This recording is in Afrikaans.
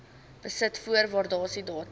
besit voor waardasiedatum